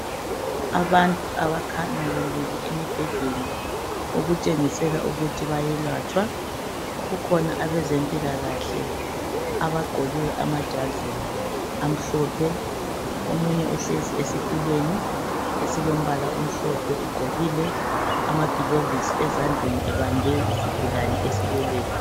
Abantu abakhanya belele emibhedeni okutshengisela ukuthi bayelatshwa kukhona abezempilakahle abagqoke amajazi amhlophe , omunye uhlezi esitulweni esilombala omhlophe ugqokile amagilovisi ezandleni ebambe isigulane esileleyo.